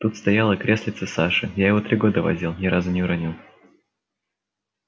тут стояло креслице саши я его три года возил ни разу не уронил